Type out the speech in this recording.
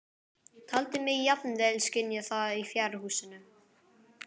Taldi mig jafnvel skynja það í fjárhúsinu.